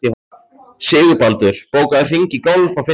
Sigurbaldur, bókaðu hring í golf á fimmtudaginn.